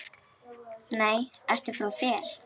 Nei, ertu frá þér!